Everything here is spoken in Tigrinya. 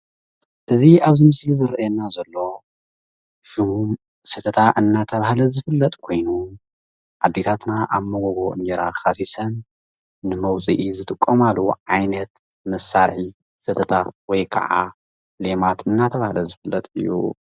እዚ ኣብዚ ምስሊ ዝርኣየና ዘሎ ሽሙ ሰተታ እናተብሃለ ዝፍለጥ ኮይኑ ኣዴታትና ኣብ ሞጎጎ እንጀራ ካሲሰን ንመዉፅኢ ዝጥቀማሉ ዓይነት መሳርሒ ሰተታ ወይ ክዓ ሌማት እናተብሃለ ዝፍለጥ እዩ።